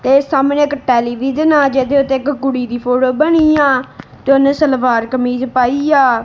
ਤੇ ਸਾਹਮਣੇ ਇੱਕ ਟੈਲੀਵਿਜ਼ਨ ਆ ਜਿਹਦੇ ਉੱਤੇ ਇੱਕ ਕੁੜੀ ਦੀ ਫੋਟੋ ਬਣੀ ਆ ਤੇ ਉਹਨੇ ਸਲਵਾਰ ਕਮੀਜ ਪਾਈ ਆ।